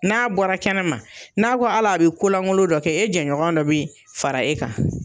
N'a bɔra kɛnɛ ma n'a ko ala be kolangolo dɔ kɛ e jɛɲɔgɔn dɔ be fara e kan